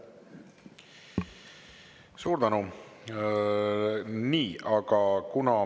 Suur tänu!